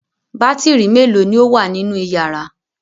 Bátírí mélòó ni ó wà nínú ìyàrá?